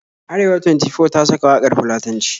Arewa Twenty-Four ta saka waƙar Fulatanci